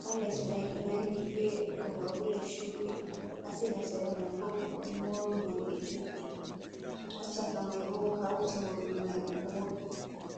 haa les mai ɗo nangi be robabulet shuɗi, haa sera-sera mai ɓo o ɗo moori morɗi juɗɗi, haa shaka mai bo o hauti morɗi mai o mooɓi.